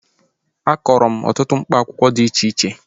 Akọrọ m ọtụtụ mkpa akwụkwọ dị iche iche